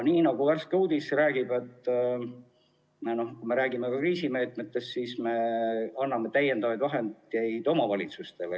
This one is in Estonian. Nagu värske uudis kriisimeetmete kohta räägib, anname me täiendavaid vahendeid ka omavalitsustele.